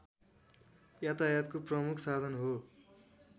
यातायातको प्रमुख साधन हो